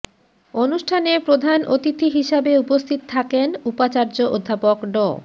অনুষ্ঠানে প্রধান অতিথি হিসাবে উপস্থিত থাকেন উপাচার্য অধ্যাপক ড